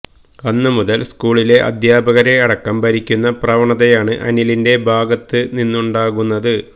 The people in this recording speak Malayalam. അന്നുമുതല് സ്കൂളിലെ അദ്ധ്യാപകരെ അടക്കം ഭരിക്കുന്ന പ്രവണതയാണ് അനിലിന്റെ ഭാഗത്ത് നിന്നുണ്ടാകുന്നത്